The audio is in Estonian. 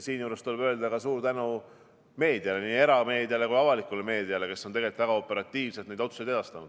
Siinjuures tuleb öelda suur tänu meediale, nii erameediale kui avalikule meediale, kes on tegelikult väga operatiivselt neid otsuseid edastanud.